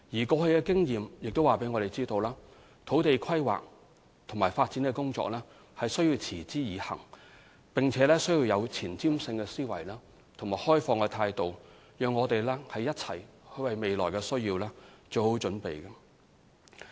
過去的經驗亦告訴我們，土地規劃和發展的工作必須持之以恆，而且需要有前瞻性的思維和開放的態度，一起為未來需要作好準備。